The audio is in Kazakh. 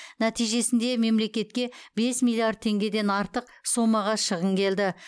нәтижесінде мемлекетке бес миллиард теңгеден артық соммаға шығын келді